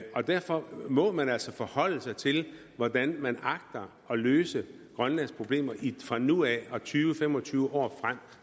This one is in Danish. og derfor må man altså forholde sig til hvordan man agter at løse grønlands problemer fra nu af og tyve til fem og tyve år frem